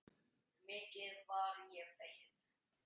Mikið varð ég feginn.